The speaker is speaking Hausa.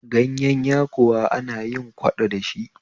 Gayen yakuwa ana yin kwaɗo dashi